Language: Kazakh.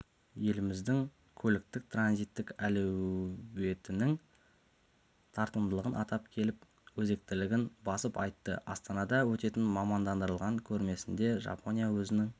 еліміздің көліктік-транзиттік әлеуетінің тартымдылығын атап келіп өзектілігін басып айтты астанада өтетін мамандандырылған көрмесінде жапония өзінің